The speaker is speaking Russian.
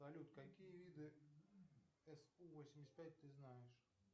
салют какие виду су восемьдесят пять ты знаешь